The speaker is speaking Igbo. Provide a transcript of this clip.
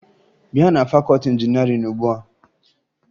Bịa na fakọọti injinịarịn ugbua!